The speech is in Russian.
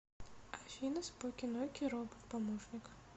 афина споки ноки робот помощник